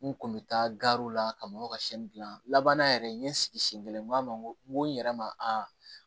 N kun bɛ taa gariw la ka mɔgɔw ka sɛn gilan laban yɛrɛ n ye n sigi siɲɛ kelen n ko a ma n ko n ko n yɛrɛ ma